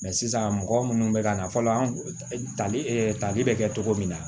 sisan mɔgɔ munnu bɛ ka na fɔlɔ an tali tali bɛ kɛ cogo min na